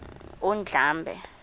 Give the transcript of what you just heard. undlambe